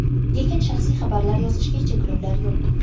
Lekin shaxsiy xabarlar yozishga cheklovlar yo‘q.